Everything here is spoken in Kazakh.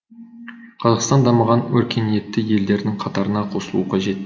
қазақстан дамыған өркениетті елдердің қатарына қосылуы қажет